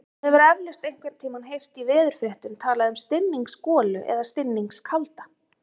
Þú hefur eflaust einhvern tímann heyrt í veðurfréttum talað um stinningsgolu eða stinningskalda.